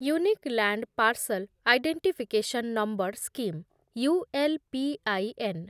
unique land parcel identification number scheme , U L P I N